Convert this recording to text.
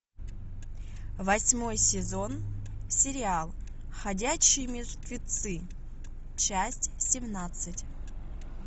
восьмой сезон сериал ходячие мертвецы часть семнадцать